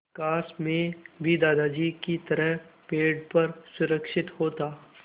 काश मैं भी दादाजी की तरह पेड़ पर सुरक्षित होता